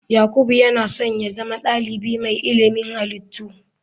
Yakubu yana so ya zama dalibi mai ilimin halittu.